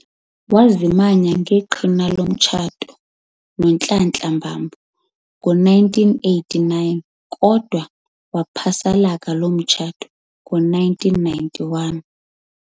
Wazimanya ngeqhina lomtshato noNhlanhla Mbambo ngo-1989 kodwa waphasalaka loo mtshato ngo1991.